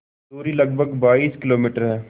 दूरी लगभग बाईस किलोमीटर है